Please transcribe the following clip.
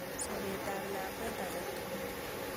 Sopet ap lakwet ake tukul.